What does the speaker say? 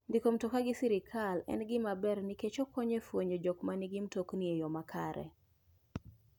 Ndiko mtoka gi sirkar en gima ber nikech okonyo e fwenyo jok ma nigi mtokni e yo makare.